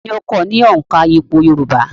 Ta ni ó kọ́ ọ ní òǹkà ìpò yorùbá?